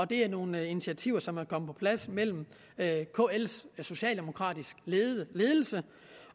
det er nogle initiativer som er kommet på plads mellem kls socialdemokratiske ledelse